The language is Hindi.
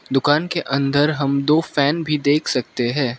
दुकान के अंदर हम दो फैन भी देख सकते है।